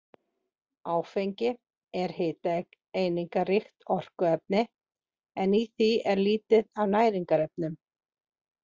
Áfengi er hitaeiningaríkt orkuefni en í því er lítið af næringarefnum.